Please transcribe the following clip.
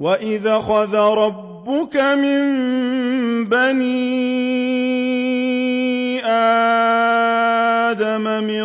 وَإِذْ أَخَذَ رَبُّكَ مِن بَنِي آدَمَ مِن